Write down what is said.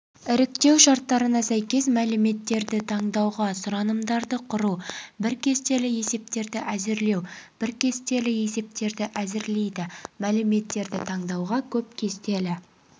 іріктеу шарттарына сәйкес мәліметтерді таңдауға сұранымдарды құру бір кестелі есептерді әзірлеу бір кестелі есептерді әзірлейді мәліметтерді таңдауға көп кестелі